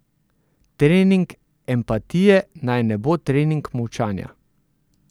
Trening empatije naj ne bo trening molčanja.